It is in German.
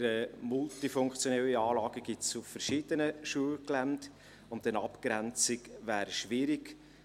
Solche multifunktionalen Anlagen gibt es auf verschiedenen Schulgeländen und eine Abgrenzung wäre schwierig.